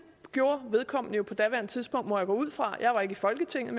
gjorde vedkommende på daværende tidspunkt må jeg gå ud fra jeg var ikke i folketinget